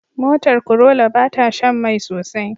Motar Corolla bata Shan Mai sosai